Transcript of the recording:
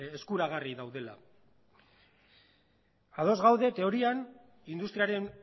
eskuragarri daudela ados gaude teorian industriaren